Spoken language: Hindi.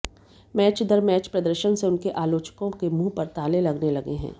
मैच दर मैच प्रदर्शन से उनके आलोचकों के मुंह पर ताले लगने लगे हैं